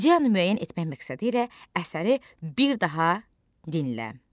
İdeyanı müəyyən etmək məqsədilə əsəri bir daha dinlə.